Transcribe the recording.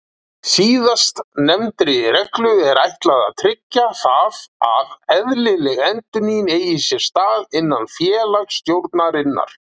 Síðastnefndri reglu er ætlað að tryggja það að eðlileg endurnýjun eigi sér stað innan félagsstjórnarinnar.